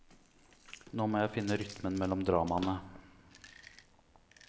Nå må jeg finne rytmen mellom dramaene.